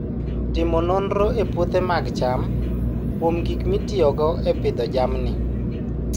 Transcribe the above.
Timo nonro e puothe mag cham kuom gik mitiyogo e pidho jamni